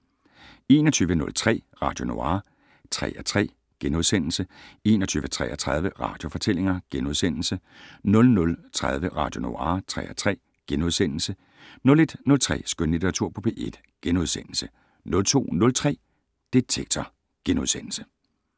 21:03: Radio Noir (3:3)* 21:33: Radiofortællinger * 00:30: Radio Noir (3:3)* 01:03: Skønlitteratur på P1 * 02:03: Detektor *